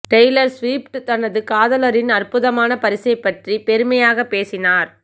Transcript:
Taylor Swift தனது காதலரின் அற்புதமான பரிசைப் பற்றி பெருமையாக பேசினார்